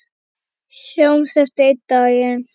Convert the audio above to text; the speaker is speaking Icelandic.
Sjáumst aftur einn daginn.